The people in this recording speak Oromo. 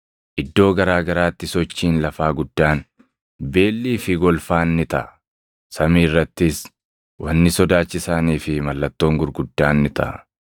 Iddoo garaa garaatti sochiin lafaa guddaan, beellii fi golfaan ni taʼa; samii irrattis wanni sodaachisaanii fi mallattoon gurguddaan ni taʼa.